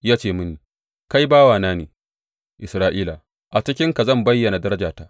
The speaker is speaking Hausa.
Ya ce mini, Kai bawana ne, Isra’ila, a cikinka zan bayyana darajata.